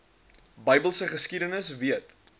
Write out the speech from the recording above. bybelse geskiedenis weet